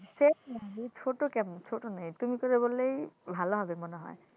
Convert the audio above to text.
আছে ছোট কেন ছোট নেই তুমি করে বললেই ভালো হবে মনে হয়